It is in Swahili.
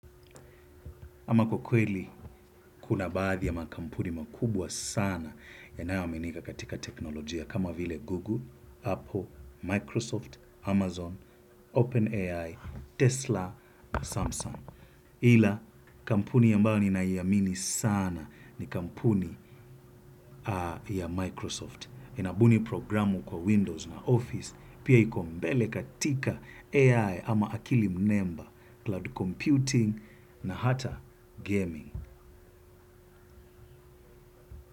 Ama kwa kweli, kuna baadhi ya makampuni makubwa sana yanayoaminika katika teknolojia kama vile Google, Apple, Microsoft, Amazon, OpenAI, Tesla, na Samsung. Ila, kampuni ambayo ninaiamini sana ni kampuni ya Microsoft. Inabuni programu kwa Windows na Office, pia iko mbele katika AI ama akili mnemba, cloud computing na hata gaming.